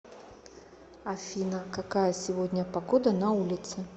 афина какая сегодня погода на улице